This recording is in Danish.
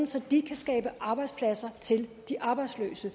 så de kan skabe arbejdspladser til de arbejdsløse